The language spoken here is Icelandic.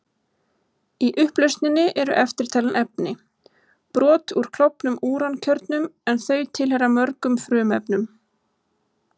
Í upplausninni eru eftirtalin efni: Brot úr klofnum úrankjörnum, en þau tilheyra fjölmörgum frumefnum.